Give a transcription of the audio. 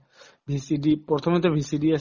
VCD প্ৰথমতে VCD য়ে